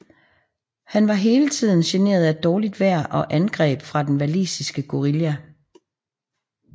Han var hele tiden generet af dårligt vejr og angreb fra den walisiske guerilla